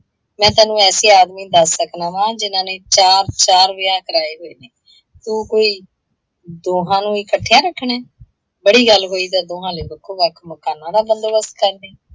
ਮੈਂ ਤੈਨੂੰ ਐਸੇ ਆਦਮੀ ਦੱਸ ਸਕਦਾ ਵਾ ਜਿਨ੍ਹਾਂ ਨੇ ਚਾਰ ਚਾਰ ਵਿਆਹ ਕਰਾਏ ਹੋਏ ਨੇ। ਤੂੰ ਕੋਈ, ਦੋਹਾਂ ਨੂੰ ਇਕੱਠਿਆਂ ਰੱਖਣੇ? ਬੜੀ ਗੱਲ ਹੋਈ ਤਾਂ ਦੋਹਾਂ ਲਈ ਵੱਖੋ ਵੱਖ ਮਕਾਨਾਂ ਦਾ ਬੰਦੋਬਸਤ ਕਰ ਲਈਂ।